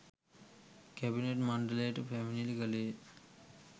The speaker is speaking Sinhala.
කැබිනට් මණ්ඩලයට පැමිණිලි කළේය.